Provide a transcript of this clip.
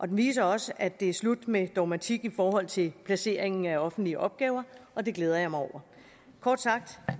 den viser også at det er slut med dogmatik i forhold til placeringen af offentlige opgaver og det glæder jeg mig over kort sagt